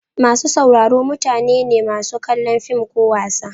Masu sauraro mutane ne masu kallon fim ko wasa.